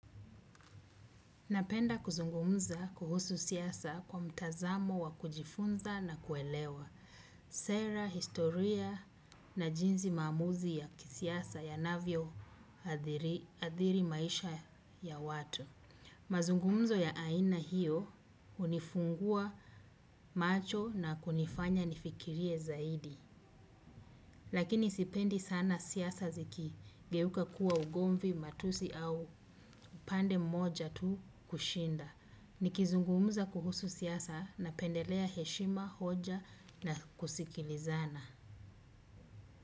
Napenda kuzungumza kuhusu siasa kwa mtazamo wa kujifunza na kuelewa. Sera, historia na jinsi maamuzi ya kisiasa yanavyo adhiri maisha ya watu. Mazungumzo ya aina hiyo hunifungua macho na kunifanya nifikirie zaidi. Lakini sipendi sana siasa ziki geuka kuwa ugomvi matusi au upande mmoja tu kushinda. Nikizungumuza kuhusu siasa napendelea heshima, hoja na kusikilizana.